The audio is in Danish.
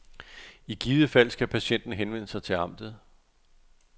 I givet fald skal patienten henvende sig til amtet.